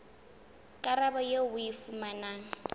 karabo eo o e fumanang